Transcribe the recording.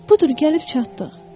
Budur gəlib çatdıq.